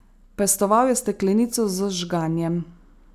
Pestoval je steklenico z žganjem.